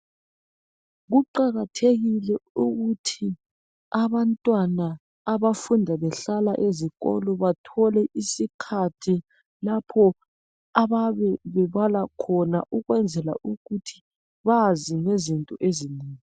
Kuqakathekile ukuthi abantwana abafunda behlala ezikolo bathole isikhathi lapho ababe bebala khona ukwenzela ukuthi bazi ngezinto ezinengi